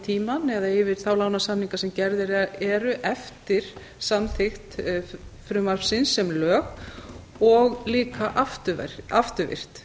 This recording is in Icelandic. tímann eða yfir þá lánasamninga sem gerðir eru eftir samþykkt frumvarpsins sem lög og líka afturvirkt